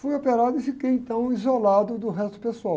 Fui operado e fiquei, então, isolado do resto do pessoal.